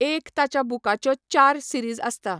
एक ताच्या बुकाच्यो चार सिरीज आसता.